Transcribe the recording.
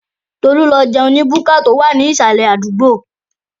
Tolú lọ jẹun ní búkà tó wà ní ìsàlẹ̀ àdúgbò.